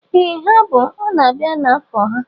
Ee ha bụ, ọ na-abịa na afọ ha